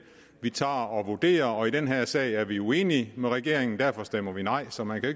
vi tager og vurderer og i den her sag er vi uenige med regeringen derfor stemmer vi nej så man kan